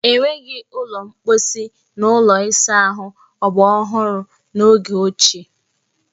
E nweghi ụlọ mposi na ụlọ ịsa ahụ ọgbaraọhụrụ n'oge ochie.